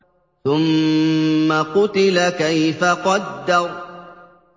ثُمَّ قُتِلَ كَيْفَ قَدَّرَ